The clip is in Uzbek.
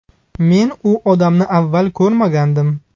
Men u odamni avval ko‘rmagandim.